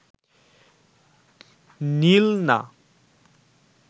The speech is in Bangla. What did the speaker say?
নিল না